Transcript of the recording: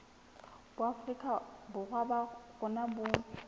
boafrika borwa ba rona bo